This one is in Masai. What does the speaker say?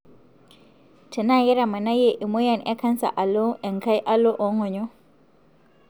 tenaa ketamanayie emoyian e canser alo engae alo ongonyo.